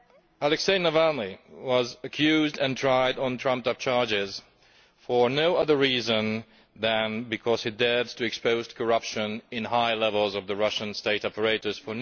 Alexei Navalny was accused and tried on trumped up charges for no other reason than because he dared to expose corruption at high levels of the Russian state apparatus